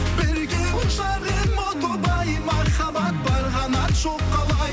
бірге ұшар ем о тоба ай махаббат бар қанат жоқ қалай